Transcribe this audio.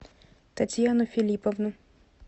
татьяну филипповну